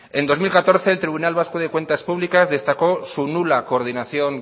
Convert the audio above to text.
en dos mil catorce en tribunal vasco de cuentas públicas destacó su nula coordinación